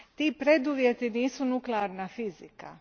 Ti preduvjeti nisu nuklearna fizika.